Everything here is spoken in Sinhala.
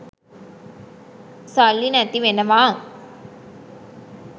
සල්ලි නැති වෙනවා